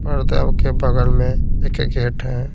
परदेव के बगल में एक गेट है।